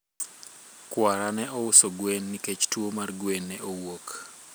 kwara ne ouso gwen nikech tuwo mar gwen ne owuok